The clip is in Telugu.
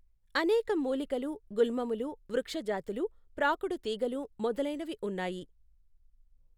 అనేక మూలికలు, గుల్మములు, వృక్షజాతులు, ప్రాకుడుతీగలు మొదలైనవి ఉన్నాయి.